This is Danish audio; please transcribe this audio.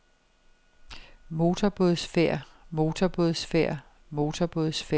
motorbådsfærd motorbådsfærd motorbådsfærd